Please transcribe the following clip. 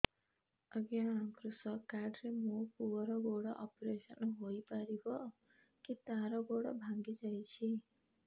ଅଜ୍ଞା କୃଷକ କାର୍ଡ ରେ ମୋର ପୁଅର ଗୋଡ ଅପେରସନ ହୋଇପାରିବ କି ତାର ଗୋଡ ଭାଙ୍ଗି ଯାଇଛ